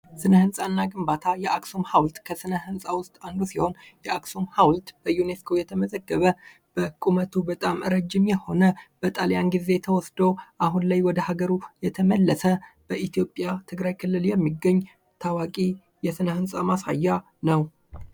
ሥነ ህንፃ እና ግንባታ የአክሱም ሐውልት ከሥነ ሕንፃ ውስጥ አንዱ ሲሆን ፤ የአክሱም ሐውልት በዩኔስኮ የተመዘገበ በቁመቱ በጣም ረዥም የሆነ በጣሊያን ጊዜ ተወስዶ አሁን ላይ ወደ አገሩ የተመለሰ በኢትዮጵያ ትግራይ ክልል የሚገኝ ታዋቂ የሥነ ሕንፃ ማሳያ ነው።